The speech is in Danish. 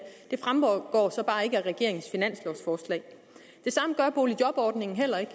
regeringens finanslovforslag det samme gør boligjobordningen heller ikke